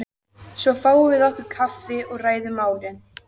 Svo fáum við okkur kaffi og ræðum málin.